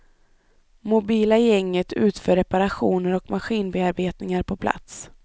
Mobila gänget utför reparationer och maskinbearbetningar på plats.